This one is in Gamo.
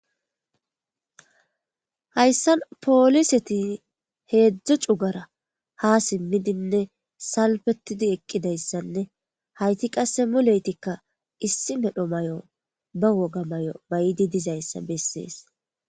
Hayssan pooliseti heedzdzo cugara ha simmidinne salpetidi eqqidayssanne hayti qasse muleytikka issi medho may7o ba woga may7o bayidi dizayssa bessees